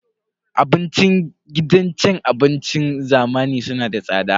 Abincin gidan cin abincin zamani suna da tsada.